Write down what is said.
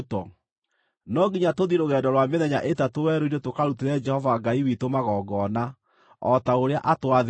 No nginya tũthiĩ rũgendo rwa mĩthenya ĩtatũ werũ-inĩ tũkarutĩre Jehova Ngai witũ magongona, o ta ũrĩa atwathĩte.”